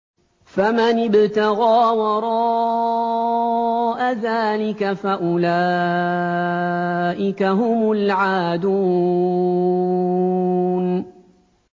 فَمَنِ ابْتَغَىٰ وَرَاءَ ذَٰلِكَ فَأُولَٰئِكَ هُمُ الْعَادُونَ